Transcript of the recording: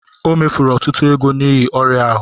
O mefuru ọtụtụ ego n'ihi ọrịa ahụ